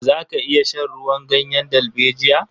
Za ka iya shan ruwan ganyen dalbejiya?